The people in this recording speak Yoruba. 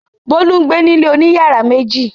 Bólú ń gbé ní ilé oní ìyàrá méjì.